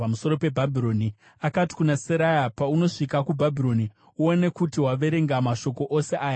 Akati kuna Seraya, “Paunosvika kuBhabhironi, uone kuti waverenga mashoko ose aya uchidanidzirisa.